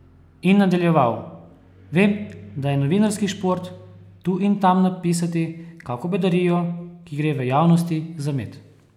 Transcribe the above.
In nadaljeval: "Vem, da je 'novinarski šport' tu in tam napisati kako bedarijo, ki gre v javnosti za med.